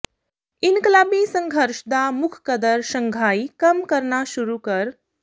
ਇਨਕਲਾਬੀ ਸੰਘਰਸ਼ ਦਾ ਮੁੱਖ ਕਦਰ ਸ਼ੰਘਾਈ ਕੰਮ ਕਰਨਾ ਸ਼ੁਰੂ ਕਰ